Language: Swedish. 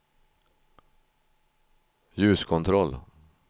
ljuskontroll